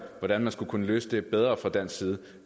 hvordan man skulle kunne løse det bedre fra dansk side